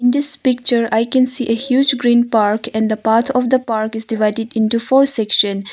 In this picture I can see a huge green park and the path of the park is divided into four section.